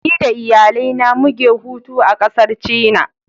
Ni da iyalai na mu ge hutu a kasar china.